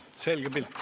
Selge pilt.